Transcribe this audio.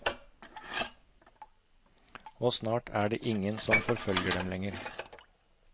Og snart er det ingen som forfølger dem lenger.